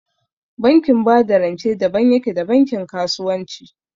Bankin ba da rance daban yake da bankin kasuwanci